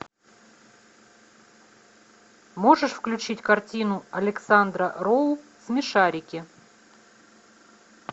можешь включить картину александра роу смешарики